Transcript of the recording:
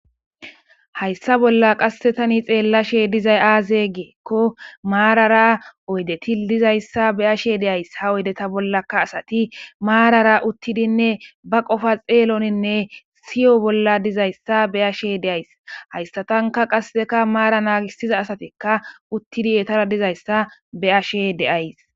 hayssa bolla qassetani xeellashe dizay aaze geekko maarara oydeti dizayssa be ashe deays ha oydeta bollaka asati maarara uttidinne ba qofa xeeloninne siyo bolla dizayssa be ashe deays haystatanka qasseka maara naagisiza asatikka uttidi etara dizayssa be ashe deays